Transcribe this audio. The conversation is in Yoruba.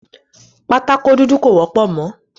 Pátákó dúdú kò wọ́pọ̀ mọ́.